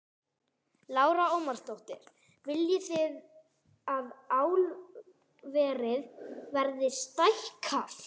Lára Ómarsdóttir: Viljið þið að álverið verði stækkað?